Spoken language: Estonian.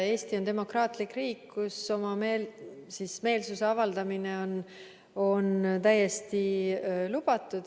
Eesti on demokraatlik riik, kus oma meelsuse avaldamine on täiesti lubatud.